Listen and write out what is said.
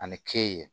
Ani ke